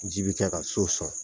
Ji bɛ kɛ ka so sɔn